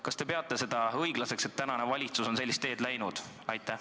Kas te peate seda õiglaseks, et tänane valitsus on sellist teed läinud?